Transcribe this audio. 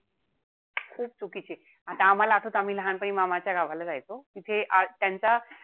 खूपच चुकीचीये. आता आम्हाला असच आम्ही लहानपणी मामाच्या गावाला जायचो. ते आज त्यांचा,